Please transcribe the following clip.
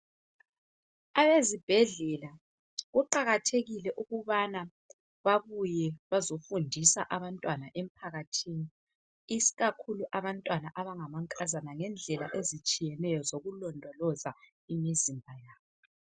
Abezibhedlela kuqakathekile ukubana babuye bazofundisa abantwana emphakathini ikakhulu abantwana abangamankazana ngendlela ezitshiyeneyo zokulondoloza imizimba yabo.